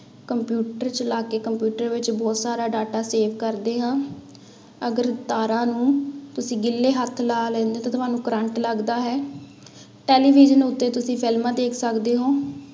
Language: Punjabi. ਕੰਪਿਊਟਰ ਚਲਾ ਕੇ ਕੰਪਿਊਟਰ ਵਿੱਚ ਬਹੁਤ ਸਾਰਾ data save ਕਰਦੇ ਹਾਂ, ਅਗਰ ਤਾਰਾਂ ਨੂੰ ਤੁਸੀਂ ਗਿੱਲੇ ਹੱਥ ਲਾ ਲੈਂਦੇ ਹੋ ਤਾਂ ਤੁਹਾਨੂੰ ਕਰੰਟ ਲੱਗਦਾ ਹੈ, ਟੈਲੀਵਿਜ਼ਨ ਉੱਤੇ ਤੁਸੀਂ ਫਿਲਮਾਂ ਦੇਖ ਸਕਦੇ ਹੋ।